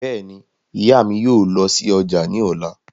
Bẹ́ẹ̀ni, ìyá mi yóò lọ sí ọjà ní ọ̀la